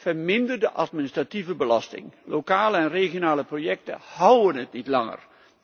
Vermindering van de administratieve belasting, lokale en regionale projecten houden het niet langer.